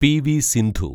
PV. Sindhu